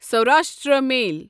Saurashtra میل